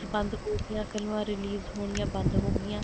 ਬੰਦ ਹੋ ਗਈਆਂ ਫ਼ਿਲਮਾਂ release ਹੋਣੀਆਂ ਬੰਦ ਹੋ ਗਈਆਂ